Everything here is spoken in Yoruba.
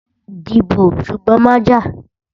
Dìbò, ṣùgbọ́n má jà!